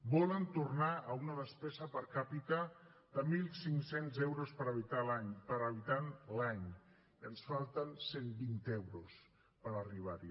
volen tornar a una despesa per capita de mil cinc cents euros per habitant l’any i ens falten cent vint euros per arribar hi